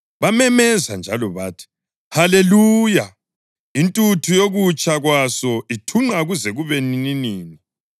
Bamemeza njalo bathi: “Haleluya! Intuthu yokutsha kwaso ithunqa kuze kube nininini.”